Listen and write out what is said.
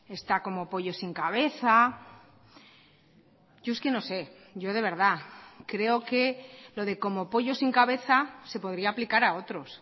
está como pollo sin cabeza yo es que no sé yo de verdad creo que lo de como pollo sin cabeza se podría aplicar a otros